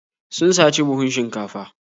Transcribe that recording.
Sun saci buhun shinkafa.